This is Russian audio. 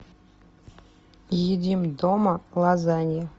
едим дома лазанья